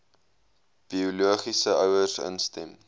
biologiese ouers instem